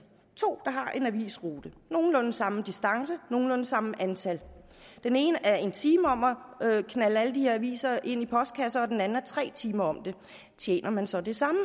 to har en avisrute nogenlunde samme distance nogenlunde samme antal den ene er en time om at knalde alle de her aviser ind i postkasser og den anden er tre timer om det tjener man så det samme